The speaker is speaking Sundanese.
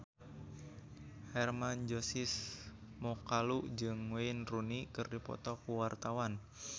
Hermann Josis Mokalu jeung Wayne Rooney keur dipoto ku wartawan